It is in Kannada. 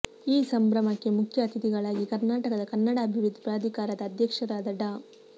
ಈ ಸಂಭ್ರಮಕ್ಕೆ ಮುಖ್ಯ ಅತಿಥಿಗಳಾಗಿ ಕರ್ನಾಟಕದ ಕನ್ನಡ ಅಭಿವೃದ್ಧಿ ಪ್ರಾಧಿಕಾರದ ಅಧ್ಯಕ್ಷರಾದ ಡಾ